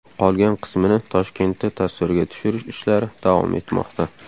Qolgan qismini Toshkentda tasvirga tushirish ishlari davom etmoqda.